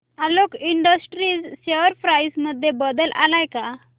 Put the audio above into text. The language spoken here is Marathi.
आलोक इंडस्ट्रीज शेअर प्राइस मध्ये बदल आलाय का